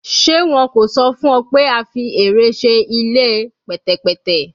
Ṣe wọn ko sọ fun ọ pe a fi ẹrẹ ṣe ile pẹtẹpẹtẹ?